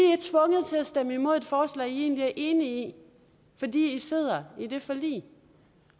stemme imod et forslag de egentlig er enige i fordi de sidder i det forlig